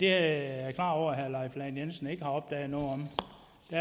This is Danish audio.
er jeg klar over at herre leif lahn jensen ikke har opdaget noget